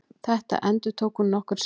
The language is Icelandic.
Þetta endurtók hún nokkrum sinnum.